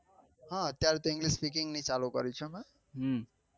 હા અત્યારે તો English specking ની ચાલુ કરી છે